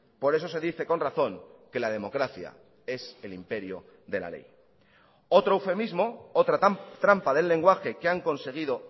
por eso se dice con razón que la democracia es el imperio de la ley otro eufemismo otra trampa del lenguaje que han conseguido